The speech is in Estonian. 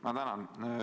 Ma tänan!